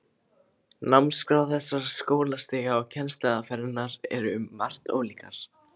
Námskrá þessara skólastiga og kennsluaðferðirnar eru um margt ólíkar.